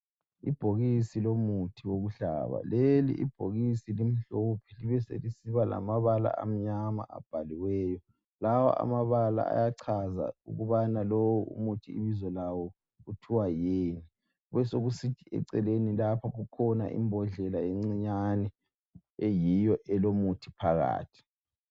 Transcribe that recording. Ibhokisi lomuthi wokuhlaba, leli ibhokisi limhlophe libeselisiba lamabala amnyama abhaliweyo. Lawa amabala ayachaza ukubana lo umuthi ibizo lawo kuthiwa yini. Kubesokusithi eceleni lapha kukhona imbodlela encinyane eyiyo elomuthi phakathi.